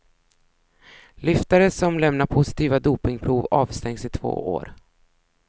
Lyftare som lämnar positiva dopingprov avstängs i två år.